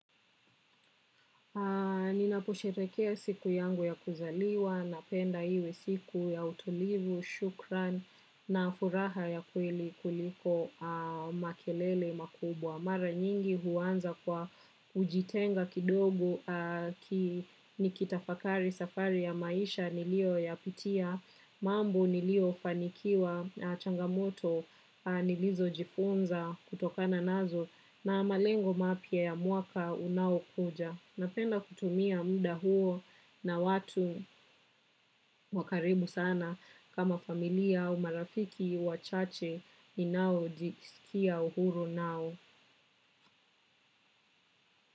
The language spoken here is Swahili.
Ninapo sherehekea siku yangu ya kuzaliwa napenda iwe siku ya utulivu, shukran na furaha ya kweli kuliko makelele makubwa. Mara nyingi huanza kwa ujitenga kidogo nikitafakari safari ya maisha niliyo yapitia mambo niliyo danikiwa na changa moto nilizo jifunza kutokana nazo na malengo mapya ya mwaka unaokuja. Napenda kutumia muda huo na watu wa karibu sana kama familia au marafiki wachache ninao jisikia uhuru nao.